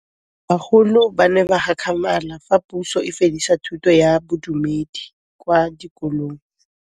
Bagolo ba ne ba gakgamala fa Pusô e fedisa thutô ya Bodumedi kwa dikolong.